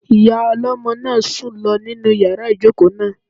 Ìyá ọlọ́mọ náà sùn lọ nínu yàrá ìjòkó náà